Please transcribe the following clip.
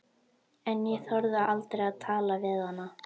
En ég þorði aldrei að tala við hana.